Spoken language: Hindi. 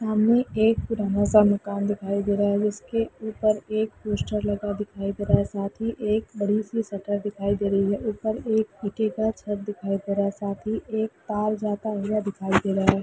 हमें एक पुराना सा मकान दिखाई दे रहा है जिसके ऊपर एक पोस्टर लगा दिखाई दे रहा है साथ ही एक बड़ी सी शटर दिखाई दे रही है ऊपर एक मिट्टी का छत दिखाई दे रहा है साथ ही एक तार जाता हुआ दिखाई दे रहा है।